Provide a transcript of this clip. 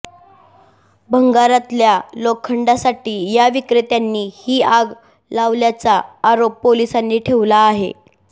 भंगारातल्या लोखंडासाठी या विक्रेत्यांनी ही आग लावल्याचा आरोप पोलिसांनी ठेवला आहे